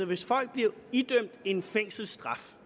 hvis folk bliver idømt en fængselsstraf